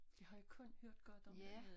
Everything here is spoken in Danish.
Det har jeg kun hørt godt om dernede